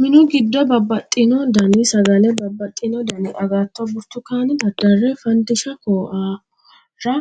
Minu giddo babbaxino Dani sagalla babbaxino Dani agatto burtukaane daddarre faandiisha koahorra